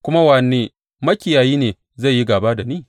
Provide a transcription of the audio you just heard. Kuma wane makiyayi ne zai yi gāba da ni?